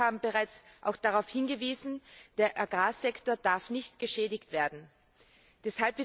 Kollegen haben bereits auch darauf hingewiesen, dass der Agrarsektor nicht geschädigt werden darf.